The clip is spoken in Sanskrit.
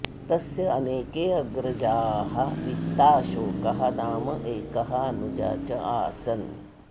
तस्य अनेके अग्रजाः वित्ताशोकः नाम एकः अनुजः च आसन्